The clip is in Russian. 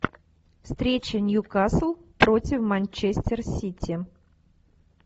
встреча ньюкасл против манчестер сити